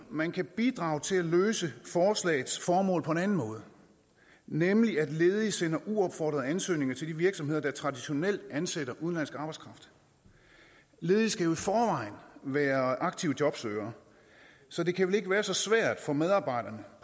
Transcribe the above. man kan bidrage til at løse forslagets formål på en anden måde nemlig ved at ledige sender uopfordrede ansøgninger til de virksomheder der traditionelt ansætter udenlandsk arbejdskraft ledige skal jo i forvejen være aktivt jobsøgende så det kan vel ikke være så svært for medarbejderne